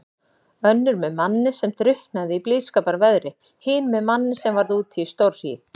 Önnur með manni sem drukknaði í blíðskaparveðri, hin með manni sem varð úti í stórhríð.